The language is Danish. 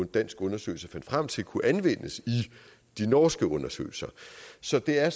dansk undersøgelse fandt frem til kunne anvendes i de norske undersøgelser så det er